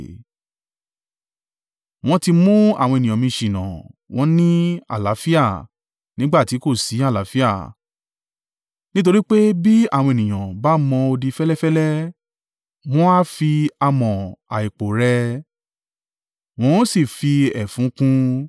“ ‘Wọ́n ti mú àwọn ènìyàn mi ṣìnà, wọ́n ní, “Àlàáfíà,” nígbà tí kò sí àlàáfíà, nítorí pé bí àwọn ènìyàn bá mọ odi fẹ́lẹ́fẹ́lẹ́, wọn a fi amọ̀ àìpò rẹ́ ẹ, wọn ó sì fi ẹfun kùn ún,